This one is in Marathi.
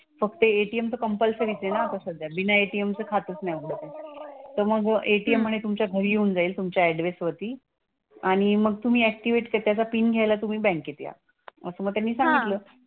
फक्त ATM चं कंपलसरीच आहे ना आता सध्या. बिना ATM चं खातंच नाही उघडत म्हंटले. तर मग ATM म्हणे तुमच्या घरी येऊन जाईल तुमच्या ऍड्रेस वरती. आणि मग तुम्ही ऍक्टिव्हेट काय त्याचा पिन घ्यायला तुम्ही बँकेत या. असं मग त्यांनी सांगितलं.